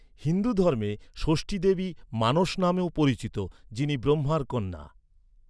হিন্দু ধর্মে, ষষ্ঠী দেবী মানস নামেও পরিচিত, যিনি ব্রহ্মার কন্যা ।